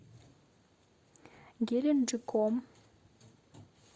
геленджиком